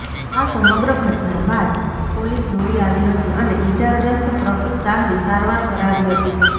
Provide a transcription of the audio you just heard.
આ સમગ્ર ઘટના બાદ પોલીસ દોડી આવી હતી અને ઈજાગ્રસ્ત પ્રફુલ શાહની સારવાર કરાવી હતી